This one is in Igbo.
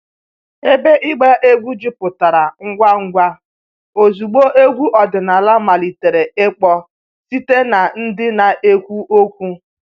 Ebe ịgba egwu jupụtara ngwa ngwa ozugbo egwu ọdịnala malitere ịkpọ site na ndị na-ekwu okwu